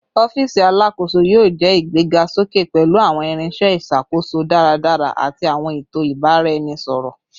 Ọfiisi Alakoso yoo jẹ igbegasoke pẹlu awọn irinṣẹ iṣakoso daradara ati awọn eto ibaraẹnisọrọ